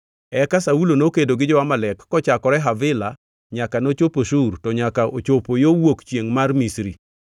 Eka Saulo nokedo gi jo-Amalek kochakore Havila nyaka ochopo Shur to nyaka ochopo yo wuok chiengʼ mar Misri.